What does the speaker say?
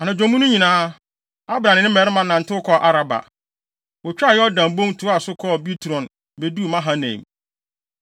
Anadwo mu no nyinaa, Abner ne ne mmarima nantew kɔɔ Araba. Wotwaa Yordan bon, toaa so kɔɔ Bitron, beduu Mahanaim.